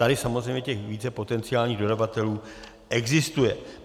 Tady samozřejmě těch více potenciálních dodavatelů existuje.